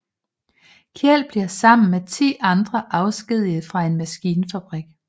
Kjeld bliver sammen med ti andre afskediget fra en maskinfabrik